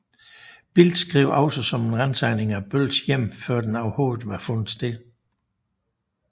Bild skrev også om en ransagning af Bölls hjem før den overhovedet var fundet sted